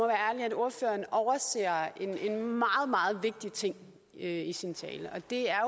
ordføreren overser en meget meget vigtig ting i sin tale og det er